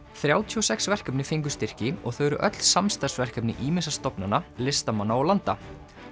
þrjátíu og sex verkefni fengu styrki og þau eru öll samstarfsverkefni ýmissa stofnana listamanna og landa